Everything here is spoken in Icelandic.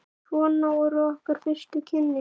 Svona voru okkar fyrstu kynni.